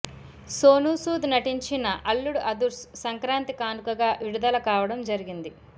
సోనూ సూద్ నటించిన అల్లుడు అదుర్స్ సంక్రాంతి కానుకగా విడుదల కావడం జరిగింది